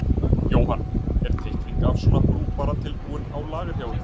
Jóhann: Er teikning af svona brú bara tilbúin á lager hjá ykkur?